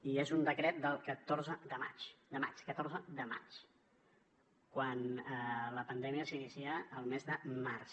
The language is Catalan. i és un decret del catorze de maig catorze de maig quan la pandèmia s’inicia el mes de març